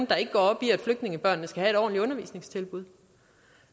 der ikke går op i at flygtningebørnene skal have et ordentligt undervisningstilbud